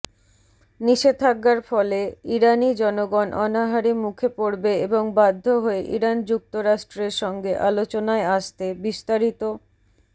নিষেধাজ্ঞার ফলে ইরানি জনগণ অনাহারে মুখে পড়বে এবং বাধ্য হয়ে ইরান যুক্তরাষ্ট্রের সঙ্গে আলোচানায় আসতেবিস্তারিত